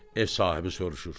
Ev sahibi soruşur: